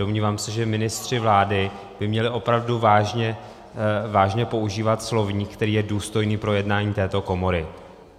Domnívám se, že ministři vlády by měli opravdu vážně používat slovník, který je důstojný pro jednání této komory.